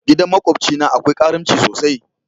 Gidan makobci na akwai karimci sosai.